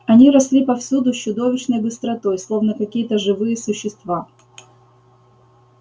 они росли повсюду с чудовищной быстротой словно какие-то живые существа